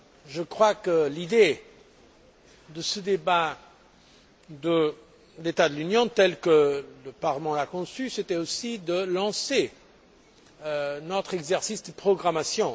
Je crois que l'idée de ce débat sur l'état de l'Union tel que le Parlement l'a conçu c'était aussi de lancer notre exercice de programmation.